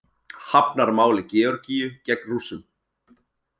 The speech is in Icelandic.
Hafnar máli Georgíu gegn Rússum